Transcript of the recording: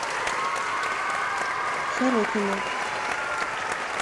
сорокина